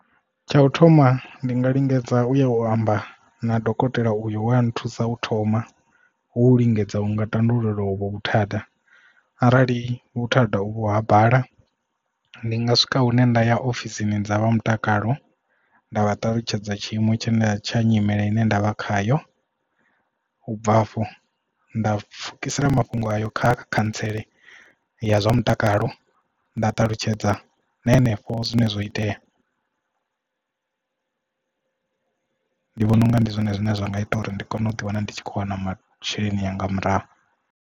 Tsha u thoma ndi nga lingedza u ya u amba na dokotela uyo we a nthusa u thoma hu lingedza u nga tandulula hovho vhuthada arali vhuthada u vho ha bala ndi nga swika hune nda ya ofisini dza vha mutakalo nda vha ṱalutshedza tshiimo tshine tsha nyimele ine nda vha khayo ubva hafho nda pfukisela mafhungo ayo kha khantsela ya zwa mutakalo nda ṱalutshedza na henefho zwine zwo itea. Ndi vhona unga ndi zwone zwine zwa nga ita uri ndi kone u ḓi wana ndi tshi khou wana masheleni anga murahu.